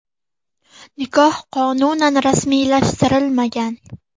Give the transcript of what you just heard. Nikoh qonunan rasmiylashtirilmagan.